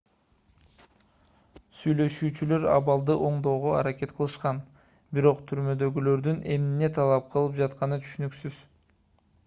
сүйлөшүүчүлөр абалды оңдоого аракет кылышкан бирок түрмөдөгүлөрдүн эмне талап кылып жатканы түшүнүксүз